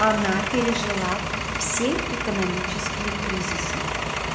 она пережила все экономические кризисы